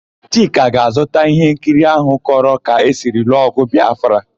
Chika ga-azụta íhénkiri áhụ̀ kọrọ ka esi lụọ ọ̀gụ̀ Bịafra.